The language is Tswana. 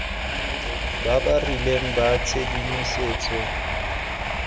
ba ba rileng ba tshedimosetso